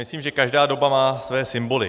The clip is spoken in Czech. Myslím, že každá doba má své symboly.